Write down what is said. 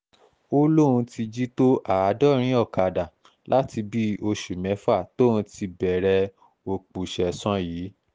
ó lóun ti jí tó àádọ́rin ọ̀kadà láti bíi oṣù mẹ́fà tóun ti bẹ̀rẹ̀ òpùsẹ̀san yìí